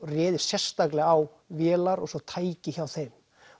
réðist sérstaklega á vélar og svo tæki hjá þeim